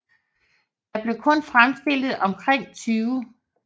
Der blev kun fremstillet omkring 20